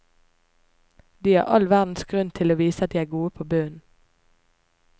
De har all verdens grunn til å vise at de er gode på bunnen.